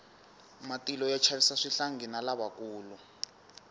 matilo ya chavisa swihlangi na lavakulu